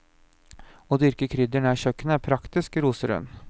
Å dyrke krydder nær kjøkkenet er praktisk, roser hun.